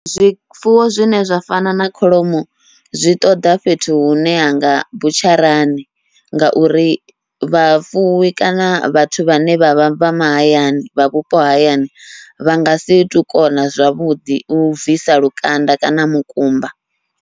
Zwifuwo zwine zwa fana na kholomo zwi ṱoḓa fhethu hune hanga butsharani, ngauri vhafuwi kana vhathu vhane vha vha vha mahayani vha vhupo hayani, vha ngasi tu kona zwavhuḓi u bvisa lukanda kana mukumba.